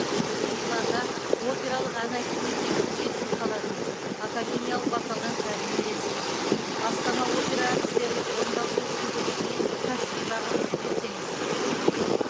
сіз миланда опералық ән айту мектебінің негізін қаладыңыз академиялық вокалдан тәлім бересіз астана опера әртістерінің орындаушылық шеберлігіне кәсіби бағаңызды берсеңіз